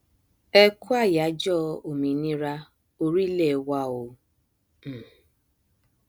ẹkú ayájọ òmìnira orílẹ wa o um